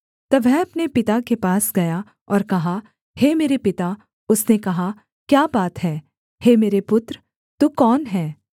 तब वह अपने पिता के पास गया और कहा हे मेरे पिता उसने कहा क्या बात है हे मेरे पुत्र तू कौन है